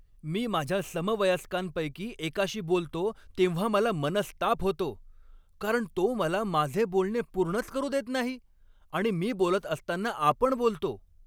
मी माझ्या समवयस्कांपैकी एकाशी बोलतो तेव्हा मला मनस्ताप होतो, कारण तो मला माझे बोलणे पूर्णच करू देत नाही आणि मी बोलत असताना आपण बोलतो.